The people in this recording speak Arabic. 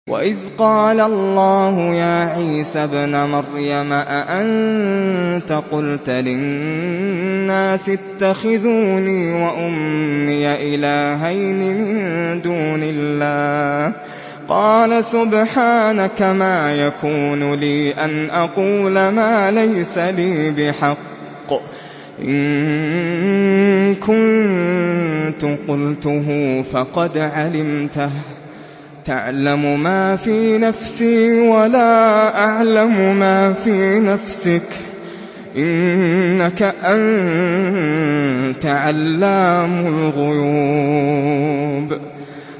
وَإِذْ قَالَ اللَّهُ يَا عِيسَى ابْنَ مَرْيَمَ أَأَنتَ قُلْتَ لِلنَّاسِ اتَّخِذُونِي وَأُمِّيَ إِلَٰهَيْنِ مِن دُونِ اللَّهِ ۖ قَالَ سُبْحَانَكَ مَا يَكُونُ لِي أَنْ أَقُولَ مَا لَيْسَ لِي بِحَقٍّ ۚ إِن كُنتُ قُلْتُهُ فَقَدْ عَلِمْتَهُ ۚ تَعْلَمُ مَا فِي نَفْسِي وَلَا أَعْلَمُ مَا فِي نَفْسِكَ ۚ إِنَّكَ أَنتَ عَلَّامُ الْغُيُوبِ